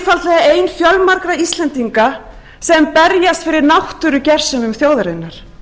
hún er einfaldlega ein fjölmargra íslendinga sem berjast fyrir náttúrugersemum þjóðarinnar